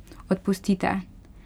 Odpustite!